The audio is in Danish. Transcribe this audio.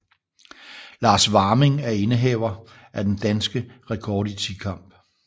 Lars Warming er indehaver af den danske rekord i tikamp